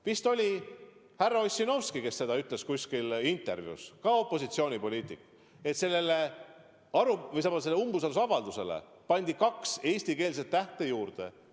Vist härra Ossinovski ütles kuskil intervjuus – temagi on opositsioonipoliitik –, et sellele umbusaldusavaldusele pandi kaks eesti tähestiku tähte juurde.